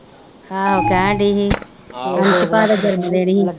ਆਹੋ ਕਹਿਣ ਦੀ ਹੀ ਅੰਸ਼ ਭਾ ਦਾ ਜਨਮ ਦਿਨ ਹੀ ਗਾ।